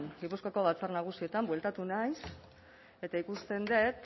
gipuzkoako batzar nagusietan bueltatu naiz eta ikusten dut